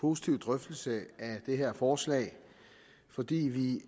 positiv drøftelse af det her forslag fordi vi